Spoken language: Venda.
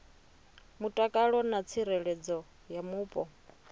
mutakalo na tsireledzo ya mupo